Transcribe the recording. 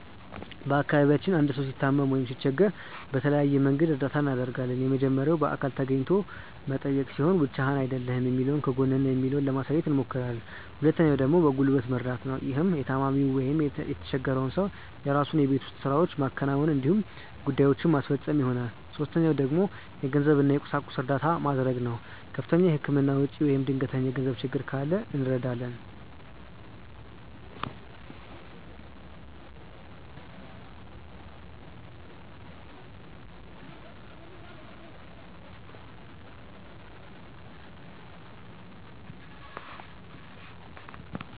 በአካባቢያችን አንድ ሰው ሲታመም ወይም ሲቸገር በተለያየ መንገድ እርዳታ እናደርጋለን። የመጀመሪያው በአካል ተገኝቶ መጠየቅ ሲሆን ብቻህን አይደለህም የሚለውን ከጎንህ ነን የሚለውን ለማሳየት አብሞክራለን። ሁለተኛው ደግሞ በጉልበት መርደት ነው። ይህም የታማሚውን ወይም የተቸፈረውን ሰው የራሱን የቤት ውስጥ ስራዎች ማከናወን እንዲሁም ጉዳዬችን ማስፈፀን ይሆናል። ሶስተኛው ደግሞ የገንዘብ እና የቁሳቁስ እርዳታ መድረግ ነው። ከፍተኛ የህክምና ወጪ ወይም ድንገተኛ የገንዘብ ችግር ካለ እንረዳለን።